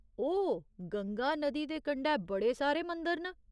ओह्, गंगा नदी दे कंढै बड़े सारे मंदर न।